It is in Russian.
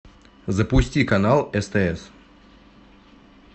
запусти канал стс